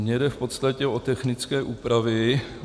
Mně jde v podstatě o technické úpravy.